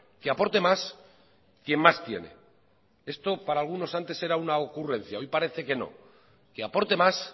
que aporte más quien más tiene esto para algunos antes era una ocurrencia hoy parece que no que aporte más